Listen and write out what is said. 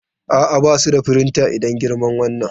A'a, ba su da firinta idan girman wannan.